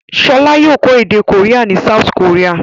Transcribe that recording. Ṣọlá yóò kọ́ èdè Korea ní South Korea.